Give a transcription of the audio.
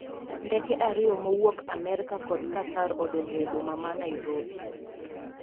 Ndeke ariyo mowuok Amerka kod Katar odonjo e boma ma Nairobi.